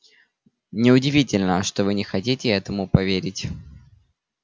не удивительно что вы не хотите этому поверить